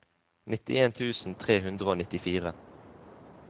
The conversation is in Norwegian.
nittien tusen tre hundre og nittifire